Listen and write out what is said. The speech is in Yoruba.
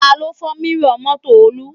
Taló fọ́ mírọ̀ mọ́tò Olú?